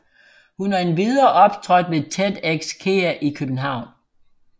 Hun har endvidere optrådt ved TEDxKEA i København